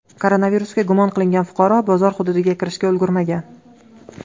Koronavirusga gumon qilingan fuqaro bozor hududiga kirishga ulgurmagan.